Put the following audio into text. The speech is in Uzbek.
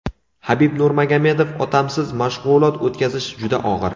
Habib Nurmagomedov: Otamsiz mashg‘ulot o‘tkazish juda og‘ir.